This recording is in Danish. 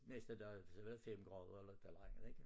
Næste dag så var det 5 grader eller et eller andet ikke